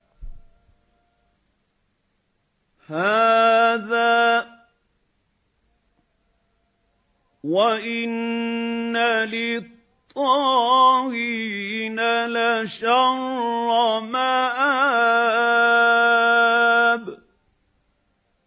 هَٰذَا ۚ وَإِنَّ لِلطَّاغِينَ لَشَرَّ مَآبٍ